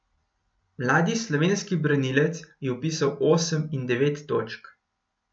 Mladi slovenski branilec je vpisal osem in devet točk.